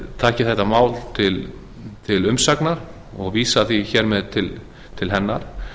taki þetta mál til umsagnar og vísa því hér með til hennar